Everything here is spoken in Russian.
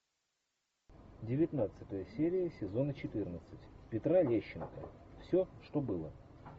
девятнадцатая серия сезона четырнадцать петра лещенко все что было